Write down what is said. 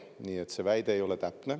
Seega, see väide ei ole täpne.